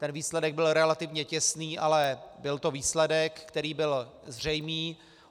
Ten výsledek byl relativně těsný, ale byl to výsledek, který byl zřejmý.